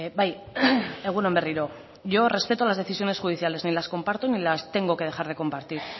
bai egun on berriro yo respeto las decisiones judiciales ni las comparto ni las tengo que dejar de compartir